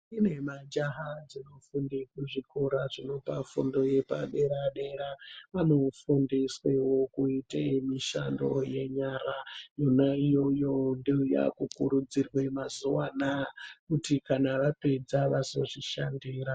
Kune majaha dzinofunde kuzvikora zvinopa fundo yepadera-dera, vanofundiswevo kuite mishando yenyara. Yona iyoyo ndiyo yakukurudzirwe mazuva anaya kuti kana vapedza vazozvishandira.